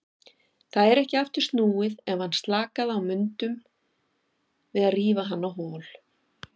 Það er ekki aftur snúið, ef hann slakaði á mundum við rífa hann á hol.